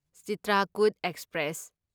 Chitrakoot express